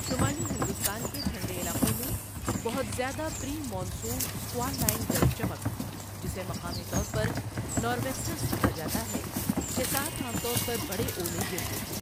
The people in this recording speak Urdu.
شمالی ہندوستان کے ٹھنڈے علاقوں میں بہت زیادہ pre monsoon squall line گرج چمک، جسے مقامی طور پر'نور ویسٹرز' کہا جاتا ہے، کے ساتھ عام طور پر بڑے اولے گرتے ہیں۔